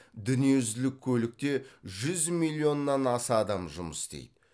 дүниежүзілік көлікте жүз миллионнан аса адам жұмыс істейді